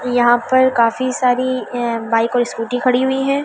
यहां पर काफी सारी बाइक और स्कूटी खड़ी हुई है।